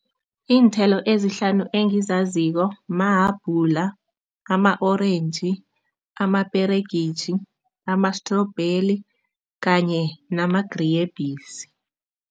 Iinthelo ezihlanu engizaziko mahabhula, ama-orentji, amaperegitjhi, ama-strobheli kanye namagrebhisi.